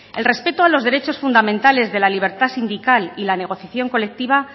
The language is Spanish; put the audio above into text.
el respeto a los derechos fundamentales de la libertad sindical y la negociación colectiva